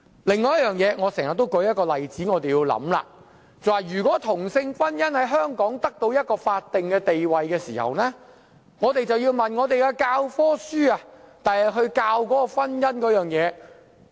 另一個我經常舉出的例子，就是當同性婚姻在香港獲得法定地位後，我們要想想，日後教科書如何教導婚姻的定義。